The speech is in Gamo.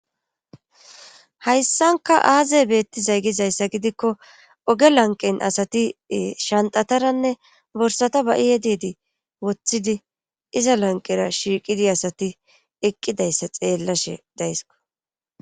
Hayssanka aazey beetti zaygizayssa gidikko oge lanqen asati shantataranne borsata ba7iye deedi woththidi iza lanqera shiiqidi asati eqqidayssa xeellashe daysko.